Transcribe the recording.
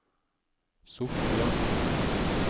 Sortland